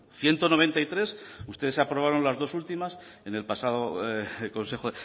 ciento noventa y tres ustedes aprobaron las dos últimas en el pasado consejo